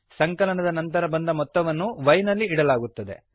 ಸಂಕಲನದ ನಂತರ ಬಂದ ಮೊತ್ತವನ್ನು y ನಲ್ಲಿ ಇಡಲಾಗುತ್ತದೆ